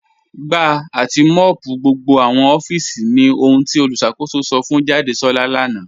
Gbà àti mọ́ọ̀pù gbogbo awọn òfíìsì ní òhùn tí olùṣakòsò sọ̀ fún Jàdésolá lánà.